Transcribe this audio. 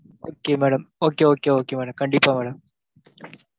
Okay madam okay okay okay madam கண்டிப்பா madam